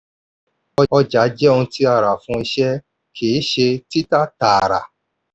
ọjà jẹ ohun tí a rà fún iṣẹ́ kìí ṣe títà taara.